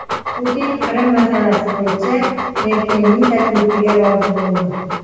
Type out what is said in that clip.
Putin Qrim masalasi bo‘yicha Merkelning taklifiga rozi bo‘ldi.